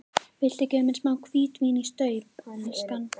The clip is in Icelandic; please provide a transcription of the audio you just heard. Viltu gefa mér smá hvítvín í staup, elskan?